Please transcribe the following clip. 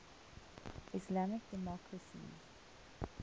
islamic democracies